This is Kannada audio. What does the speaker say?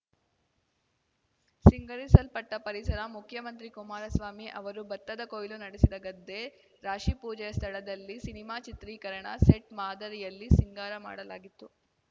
ಸಿಂಗರಿಸಲ್ಪಟ್ಟಪರಿಸರ ಮುಖ್ಯಮಂತ್ರಿ ಕುಮಾರಸ್ವಾಮಿ ಅವರು ಭತ್ತದ ಕೊಯ್ಲು ನಡೆಸಿದ ಗದ್ದೆ ರಾಶಿ ಪೂಜೆಯ ಸ್ಥಳದಲ್ಲಿ ಸಿನಿಮಾ ಚಿತ್ರೀಕರಣ ಸೆಟ್‌ ಮಾದರಿಯಲ್ಲಿ ಸಿಂಗಾರ ಮಾಡಲಾಗಿತ್ತು